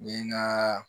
N ye n ka